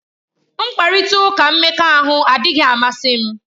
Mkparịta ụka mmekọahụ adịghị amasị m.